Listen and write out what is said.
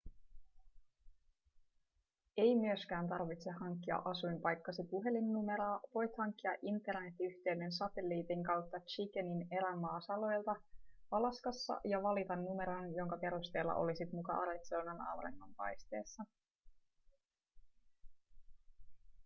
ei myöskään tarvitse hankkia asuinpaikkasi puhelinnumeroa voit hankkia internet-yhteyden satelliitin kautta chickenin erämaasaloilta alaskassa ja valita numeron jonka perusteella olisit muka arizonan auringonpaisteessa